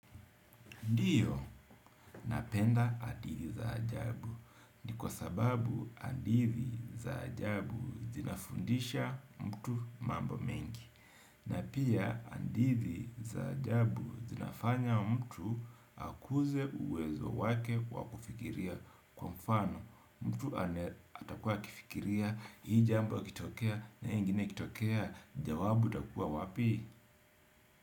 Ndio napenda hadithi za ajabu. Ni kwa sababu hadithi za ajabu zinafundisha mtu mambo mengi. Na pia hadithi za ajabu zinafanya mtu akuze uwezo wake wa kufikiria, kwa mfano mtu atakuwa akifikiria hii jambo ikitokea na hii ingine ikitokea jawabu utakuwa wapi?